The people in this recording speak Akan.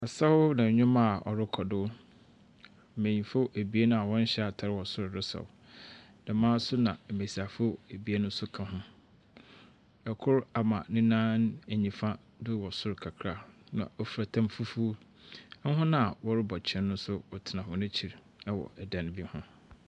Asaaw na ndwom a ɔrekɔ do, mbenyimfo a wɔnhyɛ atar resaw. Dɛm ara nso na mbesiafo abien nso ka ho. Ikor ama ne nan nyimfa do wɔ sor kakara na ofura tam fufuw. Hɔn a wɔrebɔ kyen nso wɔtena wɔn akyir wɔ dan bi ho.